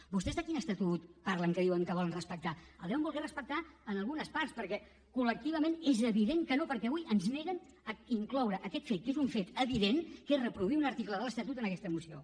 vostès de quin estatut parlen que diuen que volen respectar el deuen voler respectar en algunes parts perquè colavui ens neguen incloure aquest fet que és un fet evident que és reproduir un article de l’estatut en aquesta moció